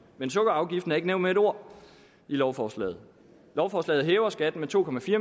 men sukkerafgiften er ikke nævnt med et ord i lovforslaget lovforslaget hæver skatten med to